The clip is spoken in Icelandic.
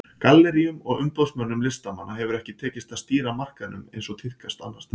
Galleríum og umboðsmönnum listamanna hefur ekki tekist að stýra markaðnum eins og tíðkast annars staðar.